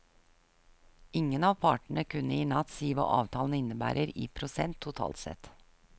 Ingen av partene kunne i natt si hva avtalen innebærer i prosent totalt sett.